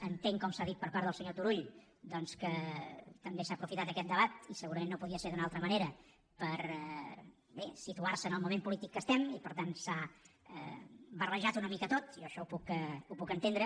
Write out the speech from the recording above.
entenc com s’ha dit per part del senyor turull que també s’ha aprofitat aquest debat i segurament no podia ser d’una altra manera per bé situar se en el moment polític que estem i per tant s’ha barrejat una mica tot i jo això ho puc entendre